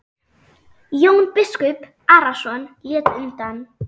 Jón biskup Arason lét undan.